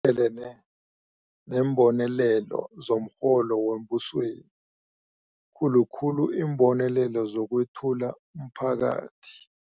elene neembonelelo zomrholo wembusweni, khulu khulu iimbonelelo zokwEthula umPhakathi.